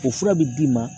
O fura bi d'i ma